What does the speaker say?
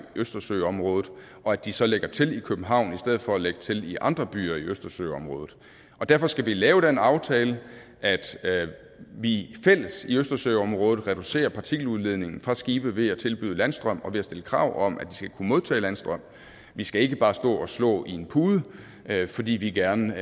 østersøområdet og at de så lægger til i københavn i stedet for at lægge til i andre byer i østersøområdet og derfor skal vi lave den aftale at vi fælles i østersøområdet reducerer partikeludledningen fra skibe ved at tilbyde landstrøm og ved at stille krav om at de skal kunne modtage landstrøm vi skal ikke bare stå og slå i en pude fordi vi gerne